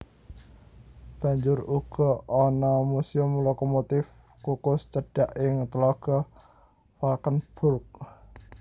Banjur uga ana muséum lokomotif kukus cedhak ing tlaga Valkenburg